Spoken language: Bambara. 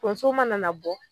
Tonso mana na bɔ